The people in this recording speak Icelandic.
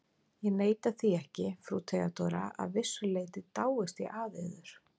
Ég neita því ekki, frú Theodóra: að vissu leyti dáist ég að yður.